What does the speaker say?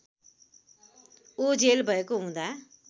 ओझेल भएको हुँदा